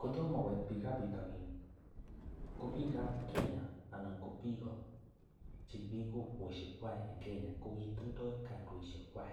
Kotomo koit biikab betonin ko biikab Kenya anan ko biik che kimi kokwoshek kwak en Kenya, ko kitindo kandoishekwak.